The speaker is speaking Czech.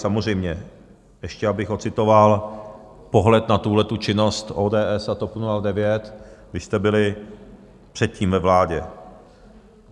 Samozřejmě, ještě abych odcitoval pohled na tuhletu činnost ODS a TOP 09, když jste byli předtím ve vládě.